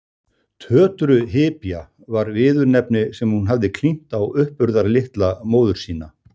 Tötrughypja var viðurnefni sem hún hafði klínt á uppburðarlitla móður sína.